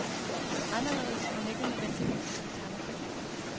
Anderledes, men ikke nødvendigvis alternativt.